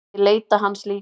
Ég leita hans líka.